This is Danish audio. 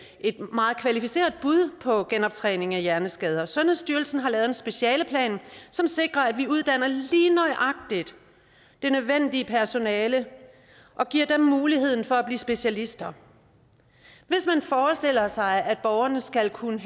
meget kvalificeret bud på genoptræning af hjerneskader sundhedsstyrelsen har lavet en specialeplan som sikrer at vi uddanner lige nøjagtig det nødvendige personale og giver dem muligheden for at blive specialister hvis man forestiller sig at borgerne skal kunne